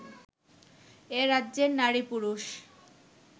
এ রাজ্যের নারী পুরুষ